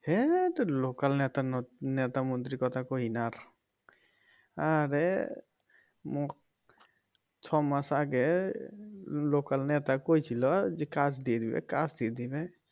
হ্যাত local নেতা ন নেতা মন্ত্রী কথা কইও না আর আরে ম ছ মাস আগে local নেতা কয়েছিল যে কাজ দিয়ে দিবে কাজ দিয়ে দিবে